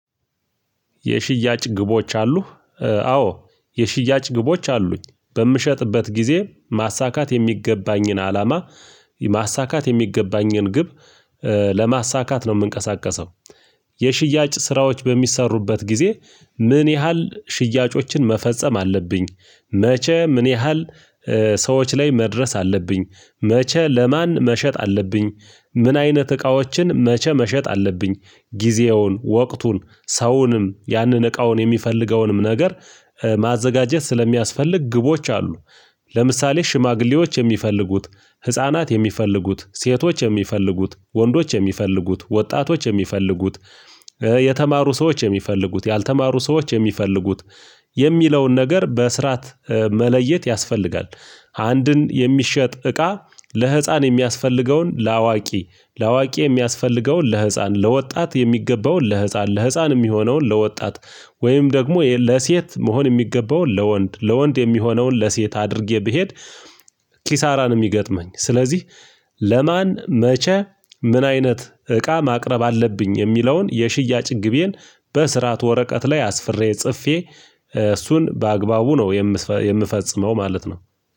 የሽያጭ ግቦች አሉ አዎ የሽያጭ ግቦች አሉኝ በምሸጥበት ጊዜ ማሳካት የሚገባኝን አላማ ማሳካት የሚገባኝን ግብ ለማሳካት ነው የምንቀሳቀሰው የሽያጭ ስራዎች በሚሰሩበት ጊዜ ምን ያህል ሽያጮችን መፈጸም አለብኝ መቼ ምን ያህል ሰዎች ላይ መድረስ አለብኝ መቼ ለማን መሸጥ አለብኝ ምን አይነት እቃዎችን መቼ መሸጥ አለብኝ ጊዜውን ወቅቱን ሰውንም ያንን እቃውን የሚፈልገውንም ነገር ማዘጋጀት ስለሚያስፈልግ ግቦች አሉ ለምሳሌ ሽማግሌዎች የሚፈልጉት ህፃናት የሚፈልጉት ሴቶች የሚፈልጉት ወንዶች የሚፈልጉት ወጣቶች የሚፈልጉት የተማሩ ሰዎች የሚፈልጉት ያልተማሩ ሰዎች የሚፈልጉት የሚለውን ነገር በስራት መለየት ያስፈልጋል አንድን የሚሸጥ እቃ ለህፃን የሚያስፈልገውን ለአዋቂ ለአዋቂ የሚያስፈልገውን ለህፃን ለወጣት የሚገባውን ለህፃን ለህፃን የሚሆነውን ለወጣት ወይም ደግሞ ለሴት መሆን የሚገባውን ለወንድ ለወንድ የሚሆነውን ለሴት አድርጌ ብሄድ ኪሳራን የሚገጥመኝ። ስለዚህ ለማን መቼ ምን አይነት እቃ ማቅረብ አለብኝ የሚለውን የሽያጭ ግቤን በስርዓት ወረቀት ላይ አስፍሬ ጽፌ እሱን በአግባቡ ነው የምፈጽመው ማለት ነው